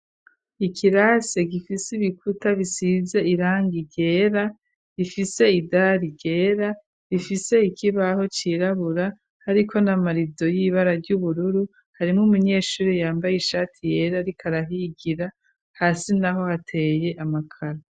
Ikirasi gifise ibikuta bisize irangi ryera rifise idari ryera rifise ikibaho cirabura hariko n'amarido y'ibara ry'ubururu harimwo umunyeshure yambaye ishati yera ariko arahigira hasi naho hateye amakaro.